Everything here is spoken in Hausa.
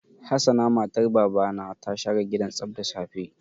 Hassana matar Baba na ta share gidan tsaf da safe.